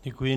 Děkuji.